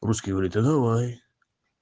русский говорит а давай